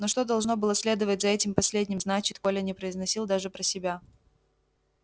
но что должно было следовать за этим последним значит коля не произносил даже про себя